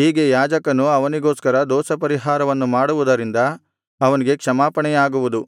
ಹೀಗೆ ಯಾಜಕನು ಅವನಿಗೋಸ್ಕರ ದೋಷಪರಿಹಾರವನ್ನು ಮಾಡುವುದರಿಂದ ಅವನಿಗೆ ಕ್ಷಮಾಪಣೆಯಾಗುವುದು